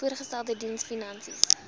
voorgestelde diens finansies